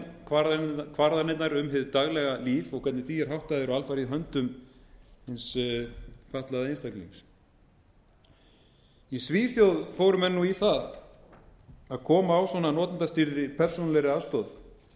en ákvarðanirnar um hið daglega líf og hvernig því er háttað er alfarið í höndum hins fatlaða einstaklings í svíþjóð fóru menn í það að koma á svona notendastýrðri persónulegri aðstoð